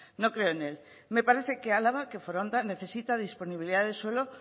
no creo en él me parece que álava que foronda necesita disponibilidad de suelo